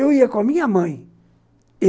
Eu ia com a minha mãe.